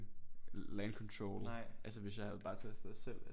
Landcontrol altså hvis jeg havde bare taget afsted selv